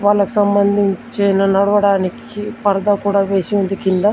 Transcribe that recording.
వాళ్లకు సంబంధించిన నడవడానికి పరదా కూడా వేసి ఉంది కింద.